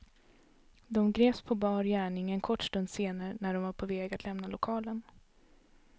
De greps på bar gärning en kort stund senare när de var på väg att lämna lokalen.